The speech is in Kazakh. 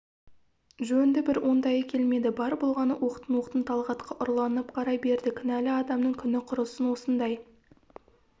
жөнді бір оңтайы келмеді бар болғаны оқтын-оқтын талғатқа ұрланып қарай берді кінәлі адамның күні құрысын осындай